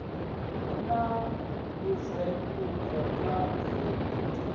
hu na ndunzhendunzhe kha zwi